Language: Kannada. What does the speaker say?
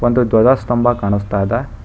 ಒಂದು ಧ್ವಜ ಸ್ತಂಭ ಕಾಣಿಸ್ತಾ ಇದೆ.